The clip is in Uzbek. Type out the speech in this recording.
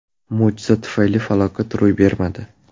Mo‘jiza tufayli falokat ro‘y bermadi.